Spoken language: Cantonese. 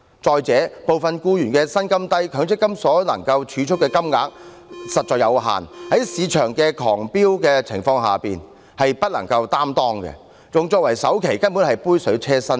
再者，部分僱員的薪金低，強積金所能儲蓄的金額實在有限，在樓價飆升的情況下，用作首期根本只是杯水車薪。